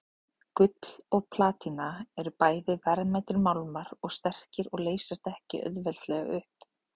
Gull og platína eru bæði verðmætir málmar og sterkir og leysast ekki auðveldlega upp.